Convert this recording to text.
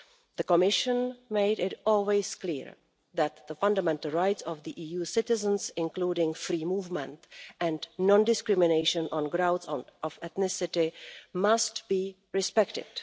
The Commission has always made it clear that the fundamental rights of EU citizens, including free movement and non discrimination on grounds of ethnicity, must be respected.